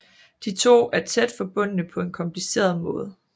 De to er tæt forbundne på en kompliceret måde